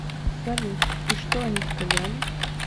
салют и что они сказали